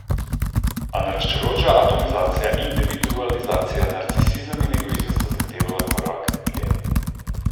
A naraščajoča atomizacija, individualizacija, narcisizem in egoizem sta zahtevala korak dlje.